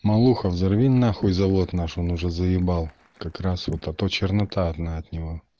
малуха взорви нахуй завод наш он уже заебал как раз вот а то чернота одна от него